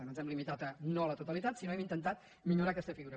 no ens hem limi·tat a no a la totalitat sinó que hem intentat millorar aquesta figura